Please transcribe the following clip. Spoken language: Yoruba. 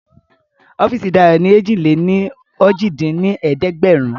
Ọọ́fíìsì Dayo ni èjì-lé-ní-ojì dín ní ẹ̀ẹ́dẹ́gbẹ́rún